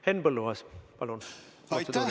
Henn Põlluaas, palun!